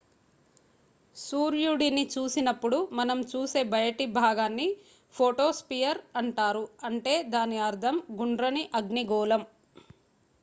"సూర్యుడిని చూసినప్పుడు మనం చూసే బయటి భాగాన్ని ఫోటోస్పియర్ అంటారు అంటే దాని అర్ధం "గుండ్రని అగ్నిగోళం"".